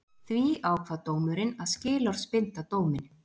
Því ákvað dómurinn að skilorðsbinda dóminn